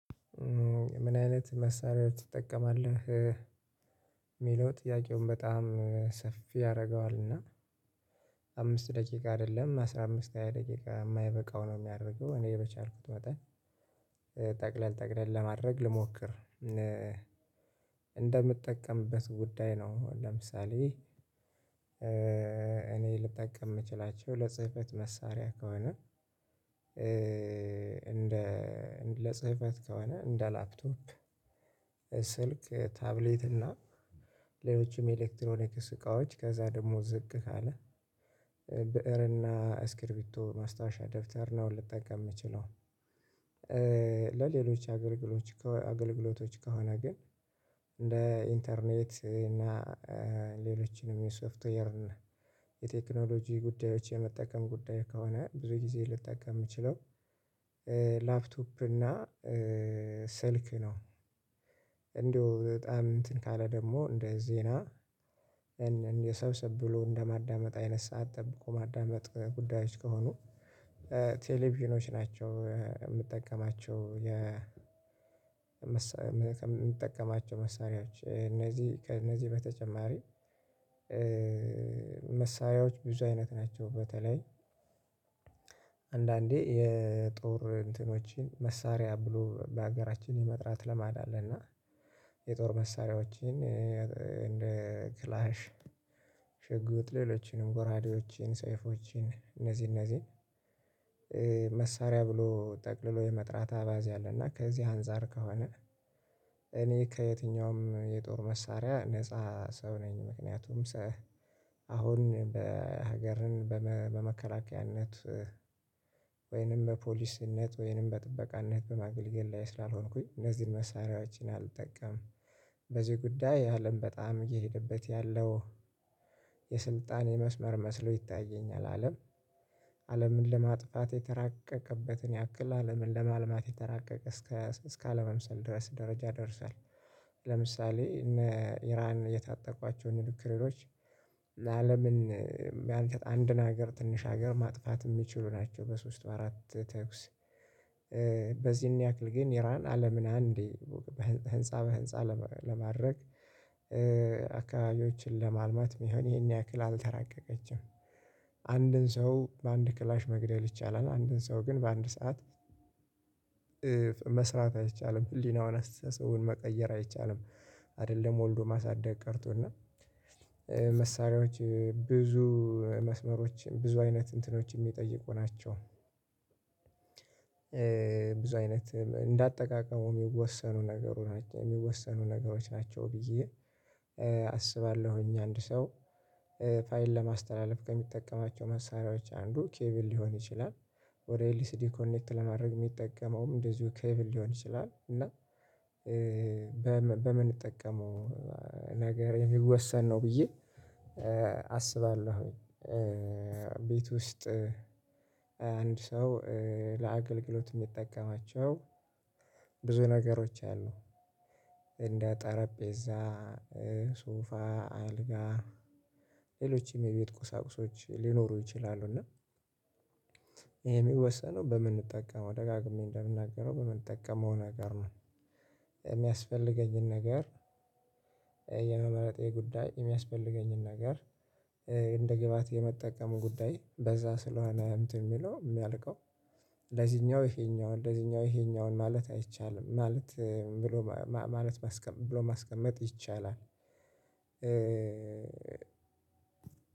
ምን አይነት መሳሪያው ትጠቀማለህ? የሚለው ጥያቄውን በጣም ሰፊ ያደርገዋል እና አምስት ደቂቃ አይደለም አስራ አምስት ሃያ ደቂቃ የማይበቃው ነው። የሚያደርገው እኔ በቻልኩት መጣን ጠቅለል ጠቅለል ለማድረግ ልሞክር እንደምጠቀምበት ጉዳይ ነው። ለምሳሌ እኔ ልጠቀም የምችላቸው ለጽህፈት መሳሪያ ከሆነ እንደ ለጽህፈት ከሆነ እንደ ላፕቶፕ ስልክ ታብሌት እና ሌሎችም የኤሌክትሮኒክ እቃዎች ከዛ ደግሞ ዝቅ ካለ ብእርና አስክርቢቶ ማስታወሻ ደብተር ነው ልጠቀም የምችለው። ለሌሎች አገልግሎቶች አገልግሎቶች ከሆነ ግን እንደ ኢንተርኔት እና ሌሎችንም የሶፍትዌር እና የቴክኖሎጂ ጉዳዮች የመጠቀም ጉዳይ ከሆነ ብዙ ጊዜ ልጠቀም የምችለው ላፕቶፕ እና ስልክ ነው። እንደው በጣም እንትን ካለ ደግሞ እንደ ዜና እንደ ሰብስብ ብሎ እንደማዳመጥ አይነት ሰዓት ጠብቆ ማዳመጥ ጉዳዮች ከሆኑ ቴሌቪዥኖች ናቸው የምጠቀማቸው የምጠቀማቸው መሳሪያዎች እነዚህ ከእነዚህ በተጨማሪ። መሳያዎች ብዙ አይነት ናቸው በተለይ አንዳንዴ የጦር እንትኖችን መሳሪያ ብሎ በሀገራችን የመጥራት ለማድ አለ እና የጦር መሳሪያዎችን እንደ ክላሽ ሽጉጥ ሌሎችንም ጎራዴዎችን ሰይፎችን እነዚህ እነዚህን መሳሪያ ብሎ ጠቅልሎ የመጥራት አባዜ አለና። ከዚህ አንፃር ከሆነ እኔ ከየትኛውም የጦር መሳሪያ ነፃ ሰው ነኝ ምክንያቱም አሁን በሀገርን በመከላከያነት ወይንም በፖሊስነት ወይንም በጥበቃነት በማገልገል ላይ ስላልሆንኩኝ እነዚህን መሳሪያዎችን አልጠቀምም። በዚህ ጉዳይ አለም በጣም እየሄደበት ያለው የስልጣን የመስመር መስሎ ይታየኛል አለም አለምን ለማጥፋት የተራቀቀበትን ያክል አለምን ለማልማት የተራቀቀ እስከ እስከ አለመምሰል ድረስ ደረጃ ደርሷል። ለምሳሌ እነ ኢራን የታጠቋቸውን ኑክሎሮች አለምን የሚያንችጥ አንድን ሀገር ትንሽ ሀገር ማጥፋት የሚችሉ ናቸው። በሶስት በአራት ተኩስ በዚህን ያክል ግን ኢራን አለምን አንዴ ህንፃ በህንፃ ለማድረግ አካባቢዎችን ለማልማት የሚሆን ይሄን ያክል አልተራቀቀችም። አንድን ሰው በአንድ ክላሽ መግደል ይቻላል አንድን ሰው ግን በአንድ ሰዓት መስራት አይቻልም ህሊናውን አስተሳሰቡን መቀየር አይቻልም። አይደለም ወልዶ ማሳደግ ቀርቶና መሳሪያዎች ብዙ መስመሮችን ብዙ አይነት እንትኖች የሚጠይቁ ናቸው። ብዙ አይነት እንዳጠቃቀሙ የሚወሰኑ ነገሮች ናቸው የሚወሰኑ ነገሮች ናቸው ብዬ አስባለሁኝ። አንድ ሰው ፋይል ለማስተላለፍ ከሚጠቀማቸው መሳሪያዎች አንዱ ኬብል ሊሆን ይችላል ወደ ኤልሲዲ ኮኔክት ለማድረግ የሚጠቀመውም እንደዚሁ ኬቭል ሊሆን ይችላል እና በምንጠቀመው ነገር የሚወሰን ነው ብዬ አስባለሁኝ። ቤት ውስጥ አንድ ሰው ለአገልግሎት የሚጠቀማቸው ብዙ ነገሮች አሉ እንደ ጠረጴዛ ሶፋ አልጋ ሌሎችም የቤት ቁሳቁሶች ሊኖሩ ይችላሉ እና የሚወሰነው በምንጠቀመው ደጋግሜ እንደምናገረው በምንጠቀመው ነገር ነው። የሚያስፈልገኝን ነገር የመመረጤ ጉዳይ የሚያስፈልገኝን ነገር እንደ ግብአት የመጠቀም ጉዳይ በዛ ስለሆነ እንትን የሚለው የሚያልቀው ለዚኛው ይሄኛው ለዚኛው ይሄኛውን ማለት አይቻልም ማለት ብሎ ማለት ብሎ ማስቀመጥ ይቻላል።